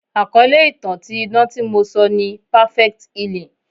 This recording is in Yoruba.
Àkọ́lé ìtàn ti idán tí mo sọ ni "perfect healing."